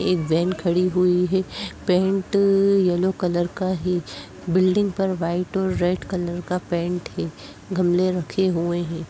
एक वैन खड़ी हुई है। पेंट येलो कलर का है। बिल्डिंग पर वाइट और रेड कलर का पेंट है। गमले रखे हुए हैं।